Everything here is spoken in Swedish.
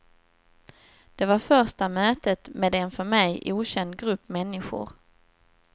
Det var första mötet med en för mig okänd grupp människor.